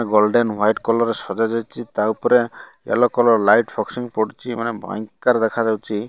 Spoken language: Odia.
ଗୋଲ୍ଡେନ ହୁଆଇଟ କଲର୍ ସଜା ଯାଇଛି ତା'ଉପରେ ଏଲ କଲର୍ ଲାଇଟ୍ ଫକ୍ସିଂ ପଡୁଛି ମାନେ ଭୟଙ୍କର ଦେଖାଯାଉଚି ।